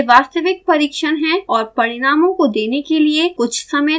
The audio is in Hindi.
यह वास्तविक परिक्षण है और परिणामों को देने के लिए कुछ समय लेगा